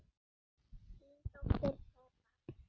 Þín dóttir Heba.